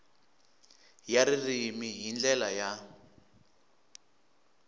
ya ririmi hi ndlela ya